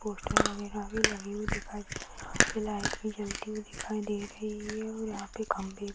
poster वगैरा भी लगी हुई दिखाई यहाँ पे लाइट भी जलती हुई दिखाई दे रही है और यहाँ पे खम्बे भी --